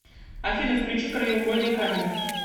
афина включи краеугольный камень